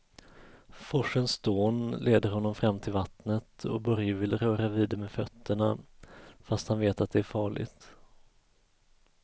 Forsens dån leder honom fram till vattnet och Börje vill röra vid det med fötterna, fast han vet att det är farligt.